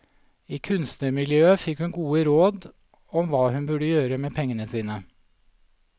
I kunstnermiljøet fikk hun gode råd om hva hun burde gjøre med pengene sine.